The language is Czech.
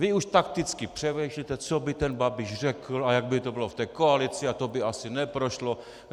Vy už takticky přemýšlíte, co by ten Babiš řekl a jak by to bylo v té koalici a to by asi neprošlo.